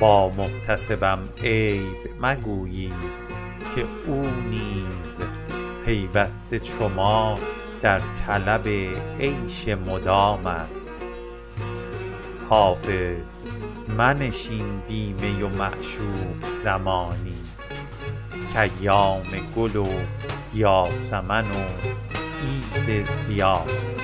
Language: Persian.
با محتسبم عیب مگویید که او نیز پیوسته چو ما در طلب عیش مدام است حافظ منشین بی می و معشوق زمانی کایام گل و یاسمن و عید صیام است